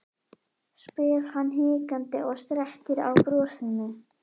spyr hann hikandi en strekkir á brosinu.